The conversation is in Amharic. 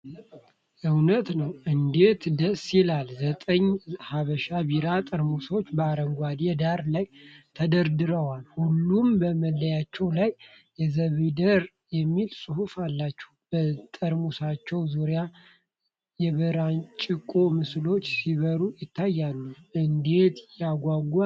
እውነት እንዴት ደስ ይላል! ዘጠኝ "ሐበሻ" ቢራ ጠርሙሶች በአረንጓዴ ዳራ ላይ ተደርድረዋል። ሁሉም በመለያቸው ላይ "የዘቢዳር" የሚል ጽሑፍ አላቸው። በጠርሙሶቹ ዙሪያ የበራንጭቆ ምስሎች ሲበሩ ይታያሉ። እንዴት ያጓጓል!